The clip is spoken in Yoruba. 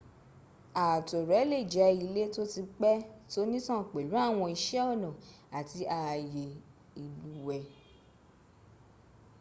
ààtò rẹ̀ lè jẹ́ ilé tó ti pẹ́ tónítàn pẹ̀lú àwọn iṣẹ́ ọnà àti ààyè ìlúùwẹ́